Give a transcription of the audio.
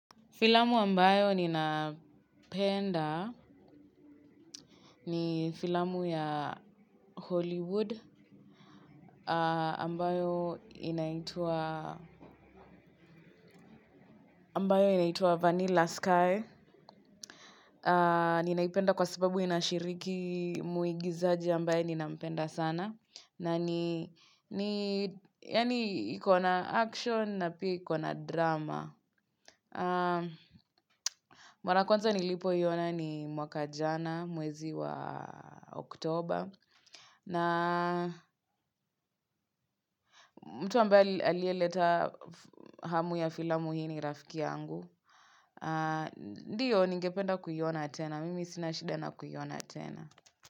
Filamu ambayo ninaipenda ni filamu ya Hollywood ambayo inaitwa Vanilla Sky. Ninaipenda kwa sababu inashiriki muigizaji ambaye ninampenda sana. Na ni, yani ikona action na pia ikona drama. Mara kwanza nilipoiona ni mwaka jana mwezi wa oktober. Na mtu ambaye alie leta hamu ya filamu hii ni rafiki yangu. Ndiyo, ningpenda kuiona tena. Mimi sinashida na kuiona tena.